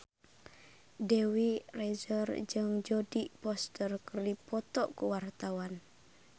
Dewi Rezer jeung Jodie Foster keur dipoto ku wartawan